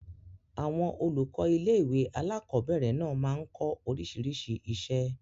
Àwọn olùkọ́ ilé-ìwé alákobẹ̀rẹ̀ náà máa n kọ́ oríṣiríṣi iṣẹ́